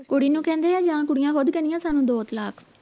ਕੁੜੀ ਨੂੰ ਕਹਿੰਦੇ ਹੈ ਜਾਂ ਕੁੜੀਆਂ ਖੁਦ ਕਹਿੰਦਿਆਂ ਸਾਨੂੰ ਦੋ ਤਲਾਕ